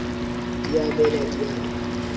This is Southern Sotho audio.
di a bela di a